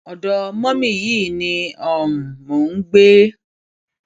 ọdọ mọmì yìí ni um mò ń gbé